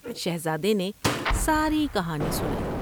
شہزادے نے ساری کہانی سنائی ۔